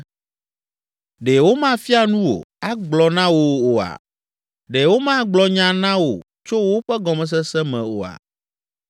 Ɖe womafia nu wò, agblɔe na wò oa? Ɖe womagblɔ nya na wò tso woƒe gɔmesese me oa?